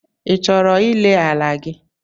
I chọrọ ire ala gị?